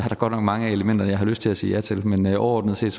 godt nok mange elementer jeg har lyst til at sige ja til men overordnet set